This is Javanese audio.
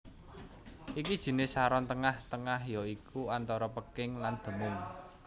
Iki jinis saron tengah tengah ya iku antara peking lan demung